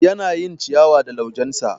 Yana yin ciyawa da laujensa